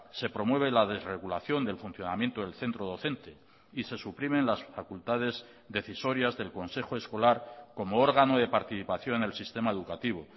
se promueve la desregulación del funcionamiento del centro docente y se suprimen las facultades decisorias del consejo escolar como órgano de participación en el sistema educativo